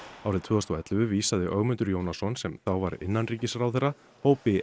árið tvö þúsund og ellefu vísaði Ögmundur Jónasson sem þá var innanríkisráðherra hópi